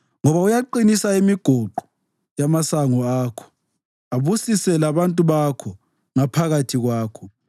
Ngoba uyaqinisa imigoqo yamasango akho, abusise labantu bakho ngaphakathi kwakho.